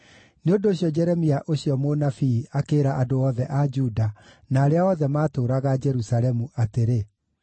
Nĩ ũndũ ũcio Jeremia ũcio mũnabii akĩĩra andũ othe a Juda na arĩa othe maatũũraga Jerusalemu atĩrĩ: